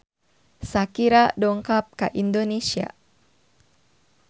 Shakira dongkap ka Indonesia